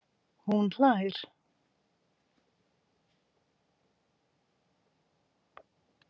Hún hlær.